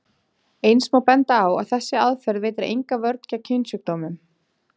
Eins má benda á að þessi aðferð veitir enga vörn gegn kynsjúkdómum.